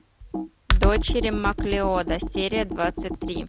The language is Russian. дочери маклеода серия двадцать три